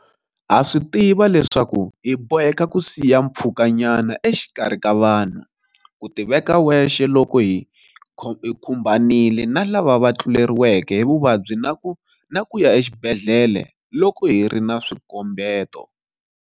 Ha swi tiva leswaku hi boheka ku siya mpfhukanyana exikarhi ka vanhu, ku tiveka wexe loko hi khumbanile na lava va tluleriweke hi vuvabyi na ku ya exibedhlele loko hi ri na swikombeto.